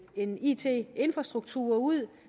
en it infrastruktur ud